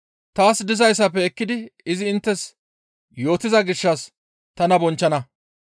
Taas dizayssafe ekkidi izi inttes yootiza gishshas tana bonchchana.